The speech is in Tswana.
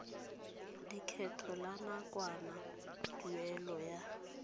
lekgetho la nakwana tuelo ya